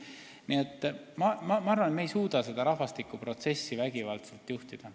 Nii et ma arvan, et me ei suuda seda rahvastikuprotsessi vägivaldselt juhtida.